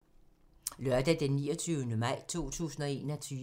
Lørdag d. 29. maj 2021